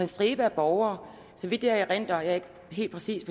stribe borgere så vidt jeg erindrer jeg er ikke helt præcist